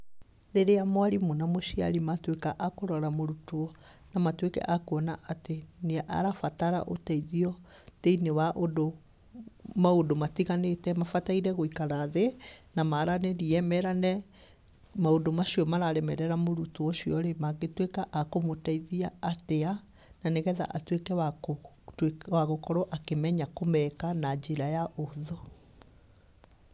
Rĩrĩa mwarimũ na mũciari matuĩka a kũrora mũrutwo na matuĩke a kũona atĩ nĩ arabatara ũteithio thĩiniĩ wa ũndũ, maũndũ matiganĩte, mabataire gwĩkara thĩ na maranĩrie, merane maũndũ macio mararemerera mũrutwo ũcio-rĩ, mangĩtuĩka a kũmũteithia atia, na nĩgetha atuĩke wakũtui, wagũkorwo akĩmenya kũmeka na njĩra ya ũhũthũ.